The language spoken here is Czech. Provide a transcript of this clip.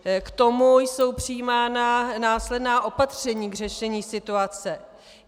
K tomu jsou přijímána následná opatření k řešení situace.